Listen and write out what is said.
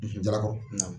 jalakɔrɔ